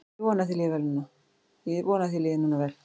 Ég vona að þér líði núna vel.